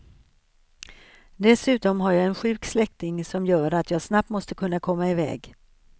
Dessutom har jag en sjuk släktning som gör att jag snabbt måste kunna komma iväg.